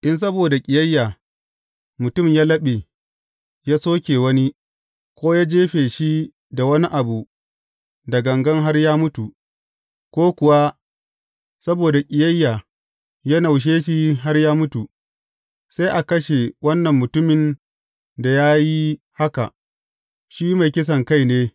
In saboda ƙiyayya, mutum ya laɓe, ya soke wani, ko ya jefe shi da wani abu da gangan har ya mutu, ko kuwa saboda ƙiyayya ya naushe shi har ya mutu, sai a kashe wannan mutumin da ya yi haka; shi mai kisankai ne.